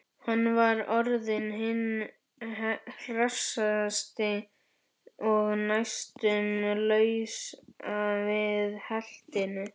Hann var orðinn hinn hressasti og næstum laus við heltina.